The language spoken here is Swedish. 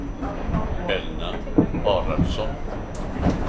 Elna Haraldsson